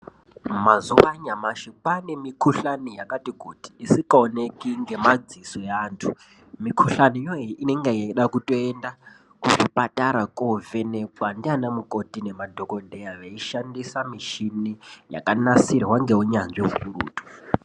Mazuva anyamashi kwaane mikuhlane yakati kuti isikaoneki ngemadziso evantu. Mikuhlaniyo iyi inenge ichidakutoenda kuzvipatara kovhenekwa ndiana mukoti nemadhokodheya, veishandisa mishini yakanasirwa ngeunyanzvi ukurutu.